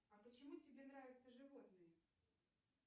а почему тебе нравятся животные